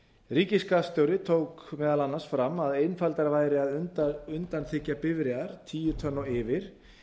ríkisskattstjóri tók meðal annars fram að einfaldara væri að undanþiggja bifreiðar tíu tonn og yfir